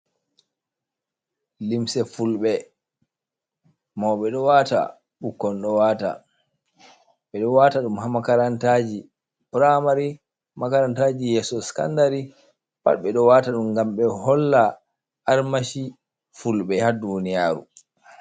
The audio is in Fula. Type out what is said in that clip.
Limse fulbe, mauɓe ɗo wata, ɓikkon ɗo wata; ɓe ɗo wata dum ha makarantaji pramari, makarantaji yeso skandari. Pat ɓe ɗo wata ɗum ngam ɓe holla armashi fulbe ha duniyaru.